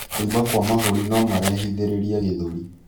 Kuimba kwa mahũri nomarehithiririe gĩthũri